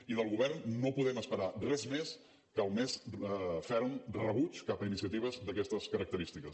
i del govern no podem esperar res més que el més ferm rebuig cap a iniciatives d’aquestes característiques